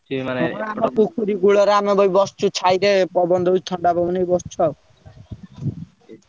ଆମ ପୋଖରୀ କୁଳରେ ଆମେ ଭାଇ ବସିଚୁ ଛାଇରେ ପବନ ଦଉଛି ଥଣ୍ଡା ପବନ ଏଇଠି ବସଛୁ ଆଉ।